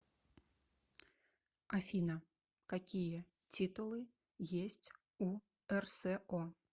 афина какие титулы есть у рсо